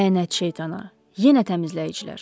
Lənət şeytana, yenə təmizləyicilər.